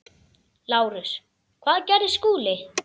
LÁRUS: Hvað gerði Skúli?